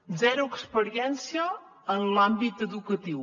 zero experiència en l’àmbit educatiu